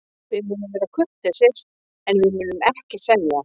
Við munum vera kurteisir, en við munum ekki semja.